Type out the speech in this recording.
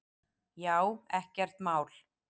Já, ekkert mál!